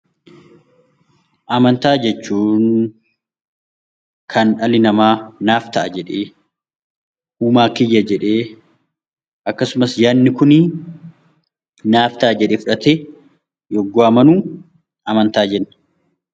Amantaa jechuun kan dhalli namaa naaf ta'a jedhee uumaa kiyya jedheen akkasumas yaadni Kun naaf ta'a jedhee fudhatee yommuu amanu amantaa jenna.